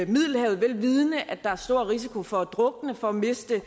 middelhavet vel vidende at der er stor risiko for at drukne for at miste